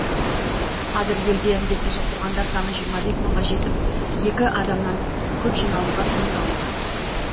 қазір елде індетті жұқтырғандар саны жиырма бес мыңға жетіп екі адамнан көп жиналуға тыйым салынған